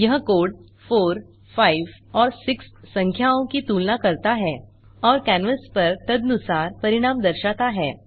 यह कोड 4 5 और 6 संख्याओं की तुलना करता है और कैनवास पर तदनुसार परिणाम दर्शाता है